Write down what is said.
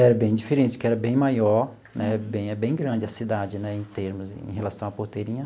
Era bem diferente, porque era bem maior né, é bem é bem grande a cidade né em termos, em relação à Porteirinha.